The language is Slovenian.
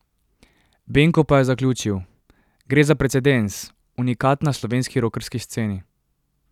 Benko pa je zaključil: 'Gre za precedens, unikat na slovenski rokerski sceni.